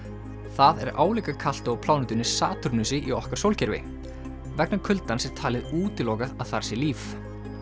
það er álíka kalt og á plánetunni Satúrnusi í okkar sólkerfi vegna kuldans er talið útilokað að þar sé líf